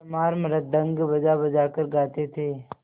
चमार मृदंग बजाबजा कर गाते थे